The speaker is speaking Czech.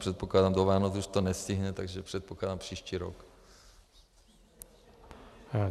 Předpokládám, do Vánoc už to nestihne, takže předpokládám příští rok.